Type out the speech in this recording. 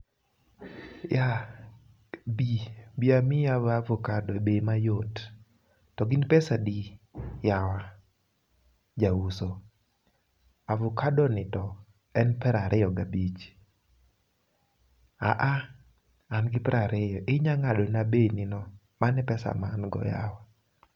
Yeah, bii bi amiyi ovakado e bei mayot. To gin pesa adi yawa ja uso? Avokadoni to en 25. ahha, an gi 20,inyalo ngado na bei ni no, mano e pesa ma an go yawa